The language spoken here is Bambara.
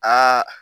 Aa